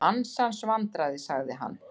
Ansans vandræði sagði hann.